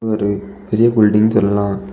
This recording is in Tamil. ஒரு பெரிய பில்லிடிங் சொல்லலாம்.